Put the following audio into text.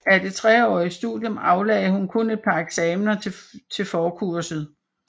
Af det treårige studium aflagde hun kun et par eksamener til forkurset